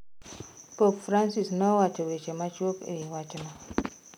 Pop Francis nowacho weche machuok ewi wachno.